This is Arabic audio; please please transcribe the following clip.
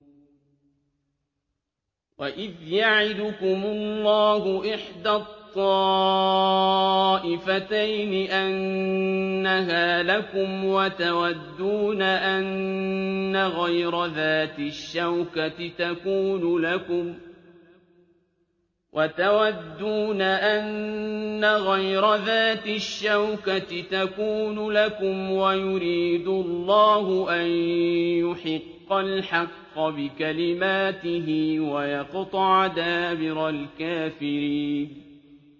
وَإِذْ يَعِدُكُمُ اللَّهُ إِحْدَى الطَّائِفَتَيْنِ أَنَّهَا لَكُمْ وَتَوَدُّونَ أَنَّ غَيْرَ ذَاتِ الشَّوْكَةِ تَكُونُ لَكُمْ وَيُرِيدُ اللَّهُ أَن يُحِقَّ الْحَقَّ بِكَلِمَاتِهِ وَيَقْطَعَ دَابِرَ الْكَافِرِينَ